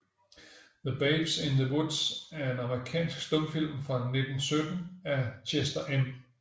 The Babes in the Woods er en amerikansk stumfilm fra 1917 af Chester M